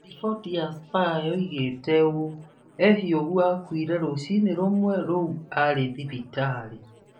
Riboti ya Spurs yoigĩte ũũ: Ehiogu akuire rũcinĩ rũmwe rũu arĩ thibitarĩ.